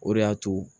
O de y'a to